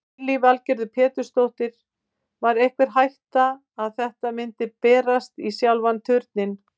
Lillý Valgerður Pétursdóttir: Var einhver hætta að þetta myndi berast í sjálfan Turninn?